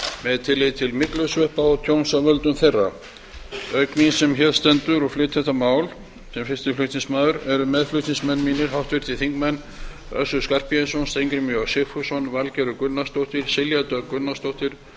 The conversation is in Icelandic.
með tilliti til myglusveppa og tjóns af völdum þeirra auk mín sem hér stend og flyt þetta mál sem fyrsti flutningsmaður eru meðflutningsmenn mínir háttvirtir þingmenn össur skarphéðinsson steingrímur j sigfússon valgerður gunnarsdóttir silja dögg gunnarsdóttir